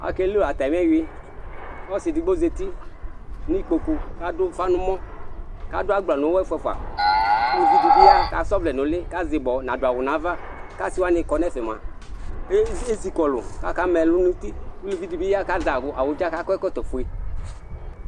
Akelʊ atamɩɛwʊɩ, ɔsɩ edɩgbo nɩkpokʊ kadʊ ʊfa nɔmɔ, kadʊ agbla nʊyɔ ɛfua fua Ʊlʊvɩ di ya kasa ɔvlɛ nʊlɩ, kazɩbɔ nadʊ awʊ nava Asɩ wanɩ kɔ nɛfɛ mua, eɣni esɩkɔlʊ kaka mɛ lʊ nutɩ, ʊvɩ dibɩ ya kakɔ ɛkɔtɔ fue